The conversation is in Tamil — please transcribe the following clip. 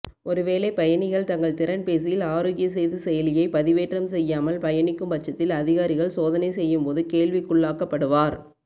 ஒருவேளை பயணிகள் தங்கள் திறன்பேசியில் ஆரோக்கிய சேது செயலியைப் பதிவேற்றம் செய்யாமல் பயணிக்கும் பட்சத்தில் அதிகாரிகள் சோதனை செய்யும்போது கேள்விக்குள்ளாக்கப்படுவார்